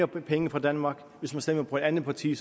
penge fra danmark og hvis man stemmer på et andet parti